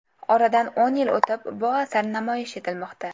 Oradan o‘n yil o‘tib bu asar namoyish etilmoqda.